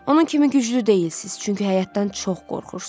Onun kimi güclü deyilsiz, çünki həyatdan çox qorxursuz.